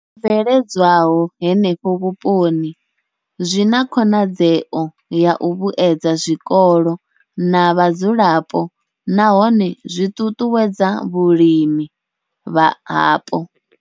I bveledzwaho henefho vhuponi zwi na khonadzeo ya u vhuedza zwikolo na vhadzulapo nahone zwi ṱuṱuwedza vhulimi hapo.